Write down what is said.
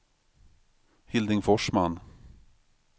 Hilding Forsman